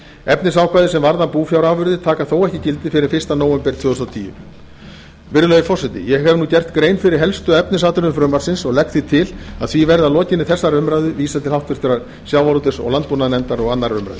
efnisákvæði sem varða búfjárafurðir taka þó ekki gildi fyrr en fyrsta nóvember tvö þúsund og tíu virðulegi forseti ég hef gert grein fyrir helstu efnisatriðum frumvarpsins og legg því til að því verði að lokinni þessari umræðu vísað til háttvirtrar sjávarútvegs og landbúnaðarnefndar og annarrar umræðu